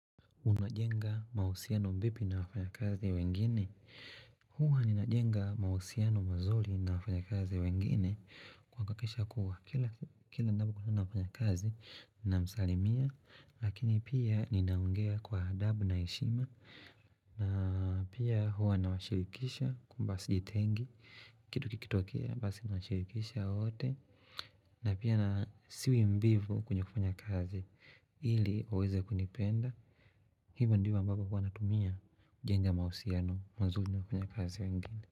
Unajenga mausiano vipi na wafanya kazi wengine? Huuwa ninajenga mausiano mazuri na wafanya kazi wengine kwa kuhakikisha kuwa. Kila napo kwa nabu kwa nabu na wafanya kazi, nina msalimia, lakini pia ninaongea kwa adabu na heshima. Na pia huwa nawashirikisha kumbasi jitengi, kitu kikitokea, basi nawashirikisha wote. Napia na siwi mbivu kwenye kufanya kazi ili uweze kunipenda. Hivo ndivo ambapo huwanatumia kujenga mausiano mzuri na kwenye kazi wengine.